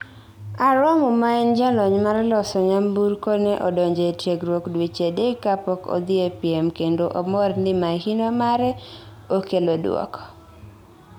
Aromo maen jalony mar loso nyamburko ne odonjo e tiegruok dueche adek kapok odhi epiem kendo omor ni mahino mare okelo dwoko